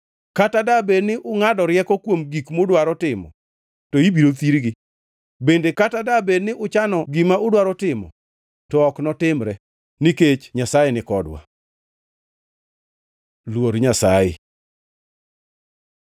Kata dabed ni ungʼado rieko kuom gik mudwaro timo to ibiro thirgi; bende kata dabed ni uchano gima udwaro timo to ok notimre, nikech Nyasaye nikodwa. Luor Nyasaye